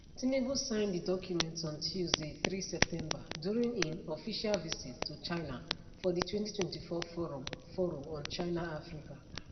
tinubu sign di documents on tuesday 3 september during im official visit to china for di 2024 forum forum on chinaafrica